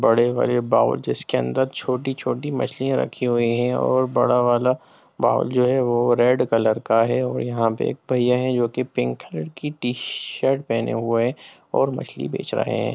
बड़े-बड़े बाउल जिसके अंदर छोटी-छोटी मछलियाँ रखी हुई है और बड़ा वाला बाउल जो रेड कलर का है और यहाँ पे एक भइया जो की पिंक कलर की टी-शर्ट पेहने हुए हैं और मछली बेच रहे हैं।